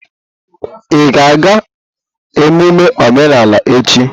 Ị ga-aga emume omenala echi?